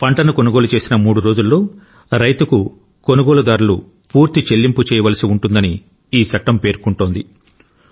పంటను కొనుగోలు చేసిన మూడు రోజుల్లో రైతుకు కొనుగోలుదారులు పూర్తి చెల్లింపు చేయవలసి ఉంటుందని ఈ చట్టం పేర్కొంటోంది